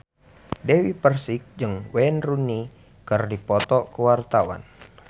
Dewi Persik jeung Wayne Rooney keur dipoto ku wartawan